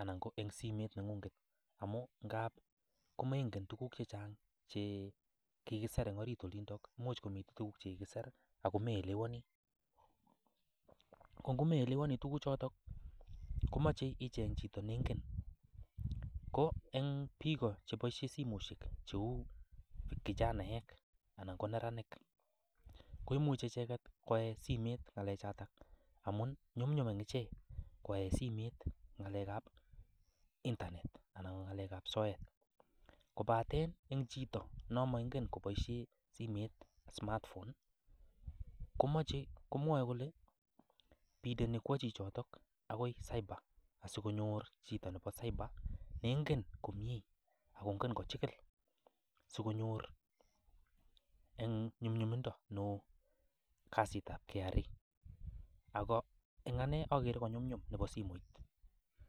anan ko en simoit nengung. Amun ngak komengen tuguk che chang che kigisir en orit olindo. Imuch komi tuguk che kigisir ago meelewani. Ko ngo meelewani tuguchoto komoche icheng chito ne ingen. Ko en biik igo cheboisie simoishek kou kijanaek anan ko neranik koimche icheget koyai en simet ngalechoto amun nyumnyum en ichek koyai simet ngalekab internet anan ko ng'alekab soet. Kobaten en chito non moingen koboishen simet smartphone komoche komwoe kole yoche kwo chichoto agoi cyber asikonyor chito nebo cyber ne ingen komye ak kongen kochigil sikonyor en nyumnyumindo neo kasitab KRA ago en ane agere ko nyumnyum nebo simoit.